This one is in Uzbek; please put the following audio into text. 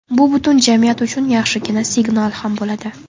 Bu butun jamiyat uchun yaxshigina signal ham bo‘ladi.